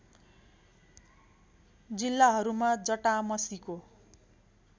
जिल्लाहरूमा जटामसीको